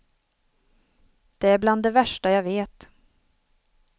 Det är bland det värsta jag vet.